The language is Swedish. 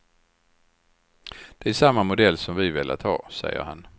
Det är samma modell som vi velat ha, säger han.